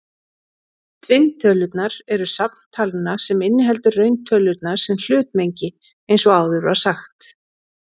Tvinntölurnar eru safn talna sem inniheldur rauntölurnar sem hlutmengi eins og áður var sagt.